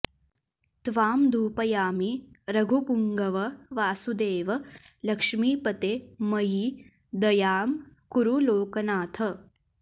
त्वां धूपयामि रघुपुङ्गव वासुदेव लक्ष्मीपते मयि दयां कुरु लोकनाथ